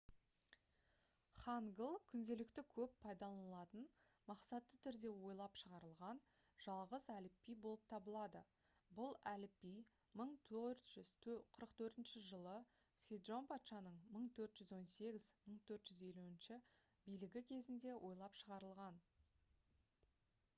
хангыл күнделікті көп пайдаланылатын мақсатты түрде ойлап шығарылған жалғыз әліпби болып табылады бұл әліпби 1444 жылы седжон патшаның 1418 – 1450 билігі кезінде ойлап шығарылған